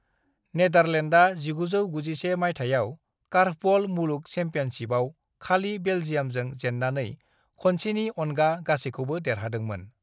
नेदारलेण्डआ 1991 मायथाइयाव कार्फबल मुलुग चेम्पियनशिपआव खालि बेलजियामजों जेननानै खनसेनि अनगा गासैखौबो देरहादोंमोन।